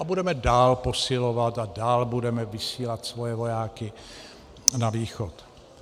A budeme dál posilovat a dál budeme vysílat svoje vojáky na východ.